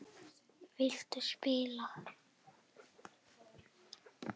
Viltu spila?